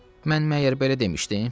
Mən məgər belə demişdim?